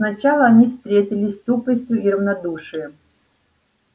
сначала они встретились с тупостью и равнодушием